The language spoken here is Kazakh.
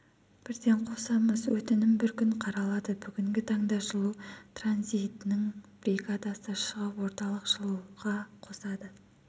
бірден қосамыз өтінім бір күн қаралады бүгінгі таңда жылу транзитінің бригадасы шығып орталық жылуға қосады